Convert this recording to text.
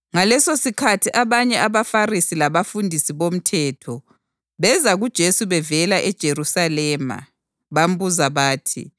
Ngalesosikhathi abanye abaFarisi labafundisi bomthetho beza kuJesu bevela eJerusalema bambuza bathi,